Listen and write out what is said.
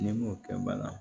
N'i m'o kɛ bala